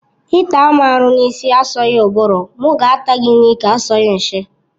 Ịta m aru n'isi asọghi ụbụrụ, m ga-ata gị n'ike asọghi nshi